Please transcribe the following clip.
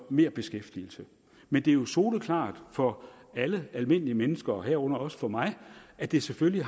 merbeskæftigelse men det er jo soleklart for alle almindelige mennesker herunder også for mig at det selvfølgelig